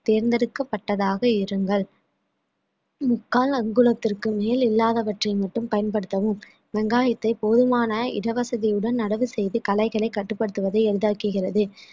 தேர்ந்தெடுக்கப்பட்டதாக இருங்கள் முக்கால் அங்குலத்திற்கு மேல் இல்லாதவற்றை மட்டும் பயன்படுத்தவும் வெங்காயத்தை போதுமான இடவசதியுடன் நடவு செய்து களைகளை கட்டுப்படுத்துவதை எளிதாக்குகிறது